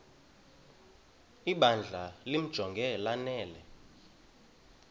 ibandla limjonge lanele